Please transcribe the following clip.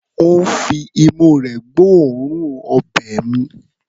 Ó ń fi imú rẹ̀ gbọ́ òórùn ọbẹ̀ mi.